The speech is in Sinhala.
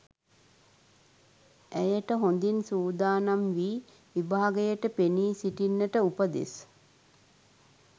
ඇයට හොඳින් සූදානම් වී විභාගයට පෙනී සිටින්නට උපදෙස්